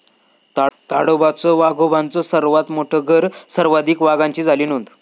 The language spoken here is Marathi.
ताडोबाच वाघोबांचं सर्वात मोठ घरं, सर्वाधिक वाघांची झाली नोंद